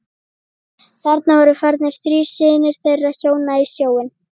Þarna voru farnir þrír synir þeirra hjóna í sjóinn.